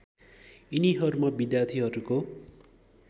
यिनीहरूमा विद्यार्थीहरूको